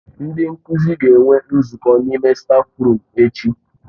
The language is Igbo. Ndị nkuzi ga-enwe nzukọ n'ime stáfruum echi.